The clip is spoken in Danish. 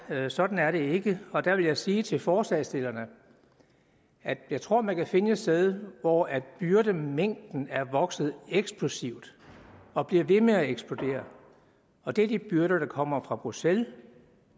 sådan er det ikke og der vil jeg sige til forslagsstillerne at jeg tror man kan finde et sted hvor byrdemængden er vokset eksplosivt og bliver ved med at eksplodere og det er de byrder der kommer fra bruxelles